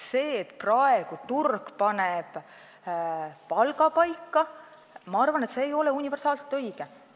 See, et praegu turg paneb palga paika, ma arvan, ei ole universaalselt õige.